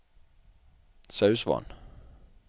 Sausvatn